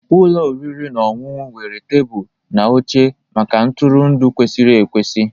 Ụlọ oriri na ọṅụṅụ nwere tebụl na oche maka ntụrụndụ kwesịrị ekwesị